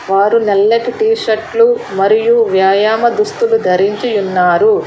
వారు నల్లటి టీ షర్ట్లు మరియు వ్యాయామ దుస్తులు ధరించి ఉన్నారు.